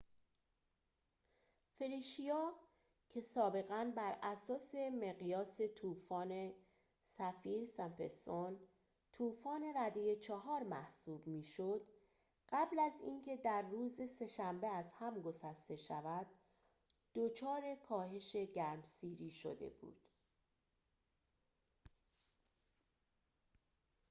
فلیشیا که سابقا براساس مقیاس طوفان سفیر-سمپسون طوفان رده ۴ محسوب می‌شد قبل از از اینکه در روز سه شنبه از هم گسسته شود دچار کاهش گرمسیری شده بود